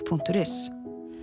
punktur is